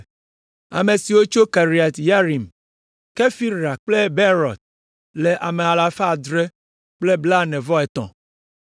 Ame siwo tso Kiriat Yearim, Kefira kple Beerot le ame alafa adre kple blaene-vɔ-etɔ̃ (743).